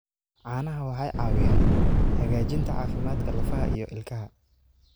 Caanaha waxay caawiyaan hagaajinta caafimaadka lafaha iyo ilkaha.